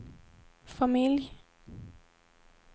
familj